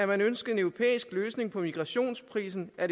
man ønsker en europæisk løsning på migrationskrisen er